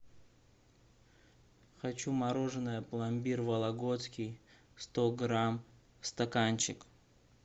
хочу мороженое пломбир вологодский сто грамм стаканчик